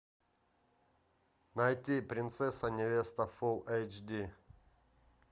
найти принцесса невеста фулл эйч ди